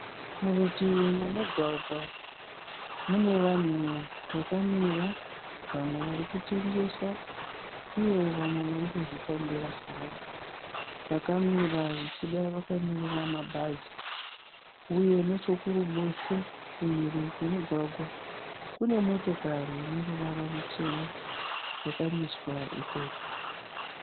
Murutivi memugwagwa munevanhu vakamira vamwe varikutengesa, uye vamwe varikuzvifambira havo. Vakamira zvichida vakamirira mabhazi. Uye nechekuruboshwe kumhiri kwemugwagwa kune motokari ineruvara rwuchena yakamiswa ikoko.